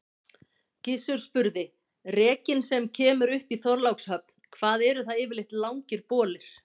Gizur spurði:-Rekinn sem kemur upp í Þorlákshöfn, hvað eru það yfirleitt langir bolir?